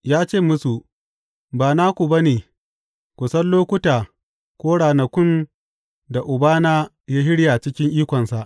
Ya ce musu, Ba naku ba ne ku san lokuta ko ranakun da Uban ya shirya cikin ikonsa.